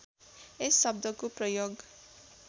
यस शब्दको प्रयोग